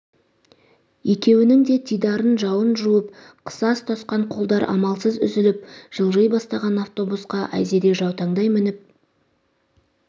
екеуінің де дидарын жауын жуып қыса ұстасқан қолдар амалсыз үзіліп жылжи бастаған автобусқа айзере жаутаңдай мініп